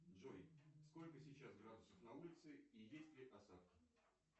джой сколько сейчас градусов на улице и есть ли осадки